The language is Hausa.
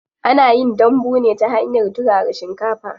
Ana yin dambu ne ta hanyar turara shinkafa.